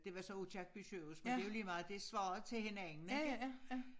Det var så Aakirkeby sygehus men det jo lige meget det svarer til hinanden ik